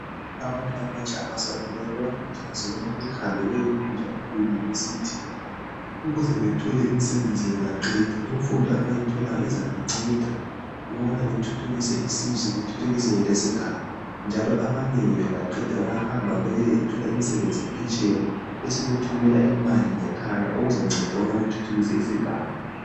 Abantu abatsha abasakhulayo bayakhuthazwa ukubana behambe beyefunda ema university ukuze bethole imisebenzi bengaqeda imfundo abayitholayo izabanceda ukubana bethuthukise isizwe bethuthukise lesigaba njalo abanengi bengaqeda bayahamba beyethola imisebenzi phetsheya besebethumela imali ngekhaya okuzanceda ukuthuthukisa isigaba.